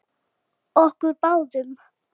Okkur báðum.